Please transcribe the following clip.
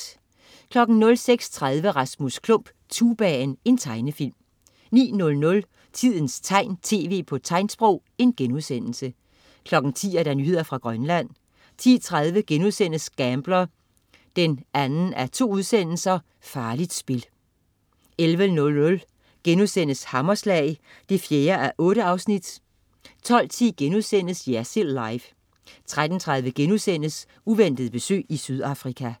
06.30 Rasmus Klump. Tubaen. Tegnefilm 09.00 Tidens tegn, tv på tegnsprog* 10.00 Nyheder fra Grønland 10.30 Gambler 2:2. Farligt spil* 11.00 Hammerslag 4:8* 12.10 Jersild Live* 13.30 Uventet besøg i Sydafrika*